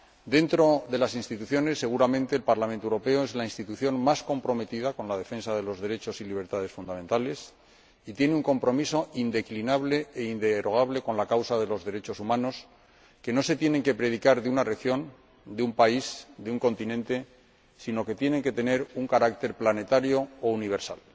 Dentro de las instituciones, seguramente el Parlamento Europeo es la institución más comprometida con la defensa de los derechos y libertades fundamentales y tiene un compromiso indeclinable e inderogable con la causa de los derechos humanos, que no se tienen que predicar de una región, de un país, de un continente, sino que tienen que tener un carácter planetario o universal.